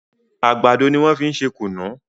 Àgbàdo ní wón fín ṣe kunu.